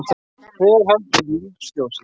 Hver heldur um lífsljósið?